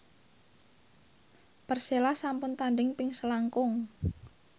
Persela sampun tandhing ping selangkung